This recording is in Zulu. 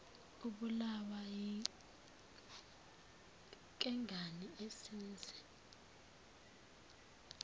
ibulawa yinkengane isimze